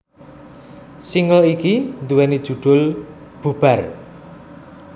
Single iki nduwèni judhul Bubar